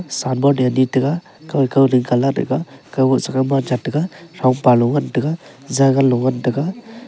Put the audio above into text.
san bon ee ani taga kau ee kauding colad taga kaubo siman chak taga thongpalo ngan taga zaganlo ngan taga.